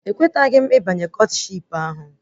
Ekweteghị m ịbanye Kọtshipu ahụ